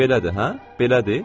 "Belədir, hə? Belədir?"